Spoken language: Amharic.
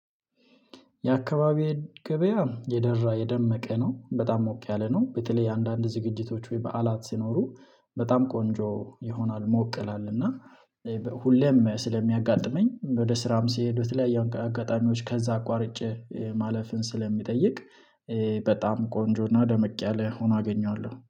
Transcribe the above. የአከባቢ ገበያ የደራ የደመቀ ነው። በጣም ሞቅ ያለ ነው በተለይ አንዳንድ ዝግጅቶች ወይ በዓላት ሲኖሩ በጣም ቆንጆ ይሆናል ሞቅ ይላል እና ሁሌም ስለሚያጋጥመኝ ወደ ስራም ስሄድ በተለያየ አጋጣሚዎች ከዛ አቋርጬ ማለፍን ስለሚጠይቅ በጣም ቆንጆና ደመቅ ያለ ሆኖ አገኘዋለው።